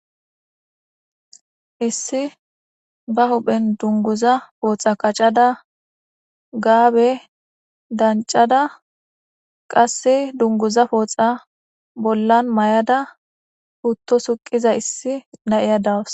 hissi ba huphen dunguza pooxa qacada gaabe dancada qasse dunguza pooxa bollan may7ada putto suqiza issi na7iya dawus